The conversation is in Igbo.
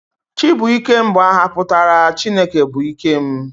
Chibuikem bụ aha pụtara 'Chineke bụ ike m'